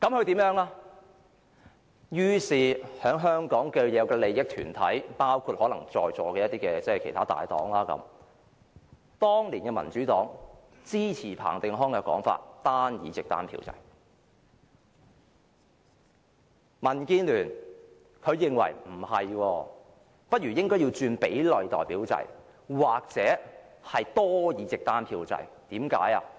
至於香港的既得利益團體，包括在座的大黨的反應是，當年的民主黨支持彭定康單議席單票制的說法；民建聯認為不應是這樣，不如轉為比例代表制或多議席單票制。